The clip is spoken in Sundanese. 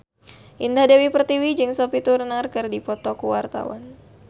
Indah Dewi Pertiwi jeung Sophie Turner keur dipoto ku wartawan